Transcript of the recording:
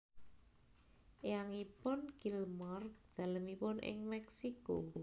Eyangipun Kilmer dalemipun ing Meksiko